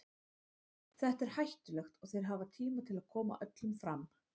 Þetta er hættulegt og þeir hafa tíma til að koma öllum fram.